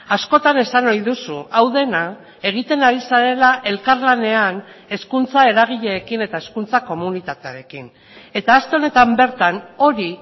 askotan esan ohi duzu hau dena egiten ari zarela elkarlanean hezkuntza eragileekin eta hezkuntza komunitatearekin eta aste honetan bertan hori